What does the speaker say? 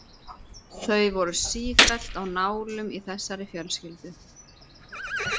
Þau voru sífellt á nálum í þessari fjölskyldu.